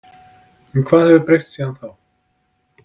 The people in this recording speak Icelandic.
En hvað hefur breyst síðan þá?